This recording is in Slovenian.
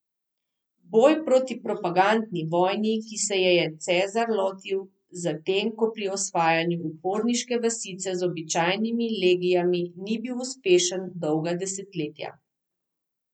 Boj proti propagandni vojni, ki se je je Cezar lotil, zatem ko pri osvajanju uporniške vasice z običajnimi legijami ni bil uspešen dolga desetletja.